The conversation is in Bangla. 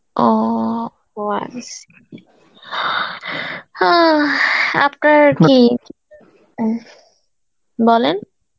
ও, ও আচ্ছা. অ্যাঁ আপনার কী? উম বলেন